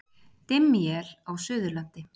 Dimm él á Suðurlandi